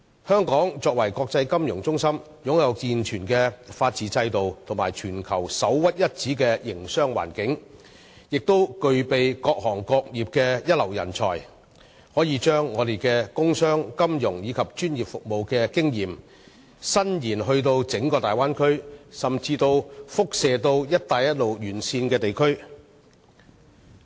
香港是國際金融中心，擁有健全的法治制度及全球首屈一指的營商環境，更具備各行各業的一流人才，我們可以把自己的工商、金融和專業服務經驗在整個大灣區運用，甚至輻射至"一帶一路"沿線地區。